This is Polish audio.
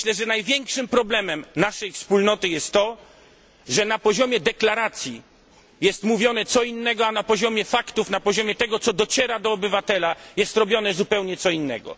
Największym problemem naszej wspólnoty jest to, że na poziomie deklaracji jest mówione co innego, a na poziomie faktów i tego, co dociera do obywatela, jest robione zupełnie co innego.